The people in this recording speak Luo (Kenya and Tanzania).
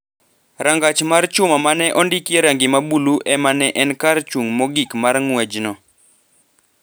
Rangach mar chuma ma ne ondikie rangi ma bulu e ma ne en kar chung’ mogik mar ng’wechno